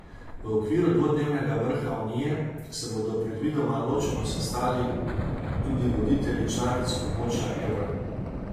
V okviru dvodnevnega vrha unije se bodo predvidoma ločeno sestali tudi voditelji članic območja evra.